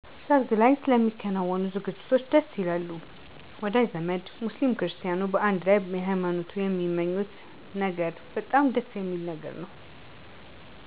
ሰርግላይ ስለሚከናወኑ ዝግጅቶች ደስይላሉ ወዳዥ ዘመድ ሙስሊም ክርስቲያኑ በአንድ ላይ በየሀይማኖት የሚመኙት በጎነገር በጣም ደስየሚል ነገር ነው